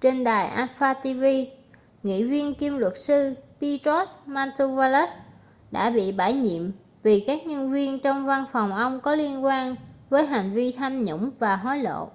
trên đài alpha tv nghị viên kiêm luật sư petros mantouvalos đã bị bãi nhiệm vì các nhân viên trong văn phòng ông có liên quan với hành vi tham nhũng và hối lộ